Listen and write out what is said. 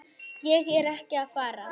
Ég er ekki að fara.